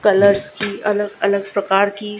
colours की अलग अलग प्रकार की--